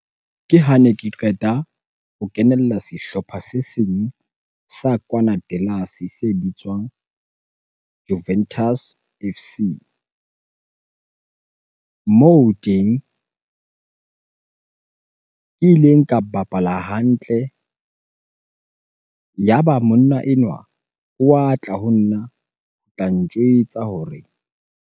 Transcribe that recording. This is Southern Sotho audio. Ke hane ke qeta ho kenella sehlopha se seng sa kwana se bitswang Juventus F_C. Moo ho teng ke ileng ka bapala hantle, yaba monna enwa wa tla ho nna ho tla ntjwetsa hore .